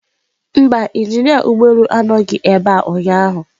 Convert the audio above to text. Mba, injinia ụgbọ elu anọghị ebe a ụnyaahụ